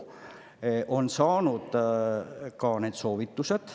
Oleme nüüd saanud ka soovitused.